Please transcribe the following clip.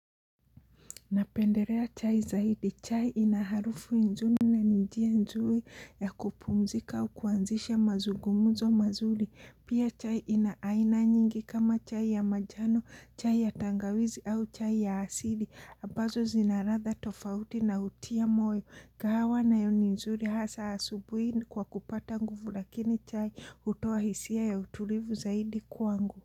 Napendelea chai zaidi, chai ina harufu nzuri na njia nzuri ya kupumzika kuanzisha mazungumzo mazuri, pia chai ina aina nyingi kama chai ya manjano, chai ya tangawizi au chai ya asili, ambazo zinaladha tofauti na hutia moyo, kahawa nayo ni nzuri hasa asubuhi kwa kupata nguvu lakini chai hutoa hisia ya utulivu zaidi kwangu.